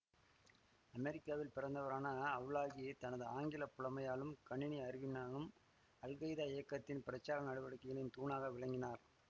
அமெரிக்காவில் பிறந்தவரான அவ்லாகி தனது ஆங்கில புலமையாலும் கணினி அறிவினாலும் அல்கைதா இயக்கத்தின் பிரச்சார நடவடிக்கைகளின் தூணாக விளங்கினார்